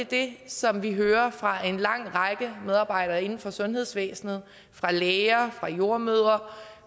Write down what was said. det som vi hører fra en lang række medarbejdere inden for sundhedsvæsenet fra læger fra jordemødre